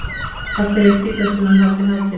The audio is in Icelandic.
Af hverju er hvítasunnan haldin hátíðleg?